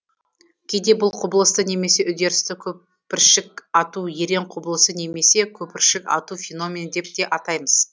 кейде бұл құбылысты немесе үдерісті көпіршік ату ерен құбылысы немесе көпіршік ату феномені деп те атаймыз